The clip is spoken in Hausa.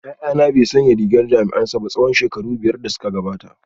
Yayana bai sanya rigar jami’ansa ba tsawon shekaru biyar da suka gabata